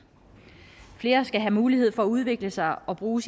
flere skal have mulighed for at udvikle sig og bruge